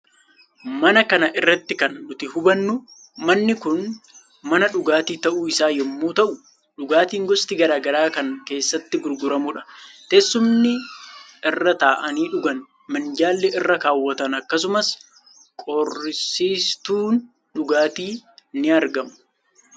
Suuraa kana irratti kan nuti hubannu manni kun mana dhugaatii ta'uu isaa yommuu ta'u djugaatiin gosti gara garaa kan keessatti gurguramudha. Teesumni irra taa'anii dhugan, minjaalli irra kaawwatan akkasumas qorrisiistuun dhugaatii ni argamu.